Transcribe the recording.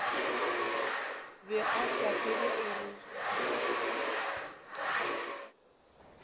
be ba sa tsebe gore